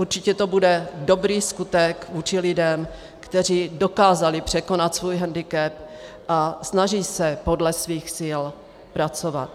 Určitě to bude dobrý skutek vůči lidem, kteří dokázali překonat svůj hendikep a snaží se podle svých sil pracovat.